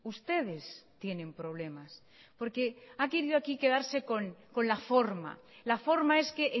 ustedes tienen problemas porque ha querido aquí quedarse con la forma la forma es que